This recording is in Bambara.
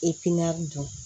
don